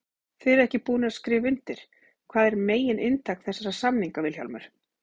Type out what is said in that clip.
Þið eruð ekki búnir að skrifa undir, hvað er megin inntak þessara samninga Vilhjálmur?